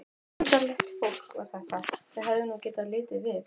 Undarlegt fólk var þetta, þau hefðu nú getað litið við!